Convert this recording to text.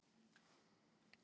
Ég varð háður því.